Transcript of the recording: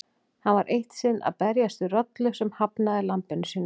Hann var eitt sinn að berjast við rollu sem hafnaði lambinu sínu.